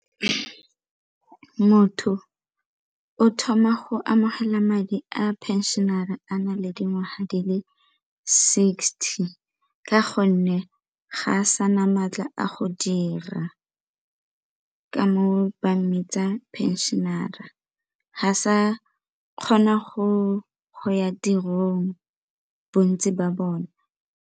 Motho o thoma go amogela madi a pension-e a na le dingwaga di le sixty ka gonne ga a sa na maatla a go dira, ka tsa phenšene ga sa kgona go ya tirong bontsi ba bone?